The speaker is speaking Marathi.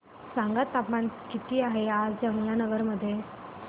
सांगा तापमान किती आहे आज यमुनानगर मध्ये